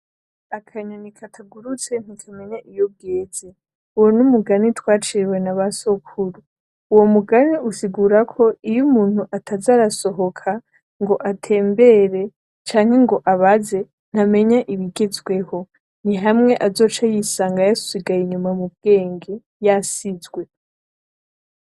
Akanyoni katagurutse ntikamenya iyo bweze. Uwo numugani twaciriwe nabasokuru. Uwo mugani usigurako iyo umuntu ataza arasohoka ngo atembere canke ngo abaze, ntamenya ibigezweho. Nihamwe azoca yisanga yasigaye inyuma mu bwenge yasizwe.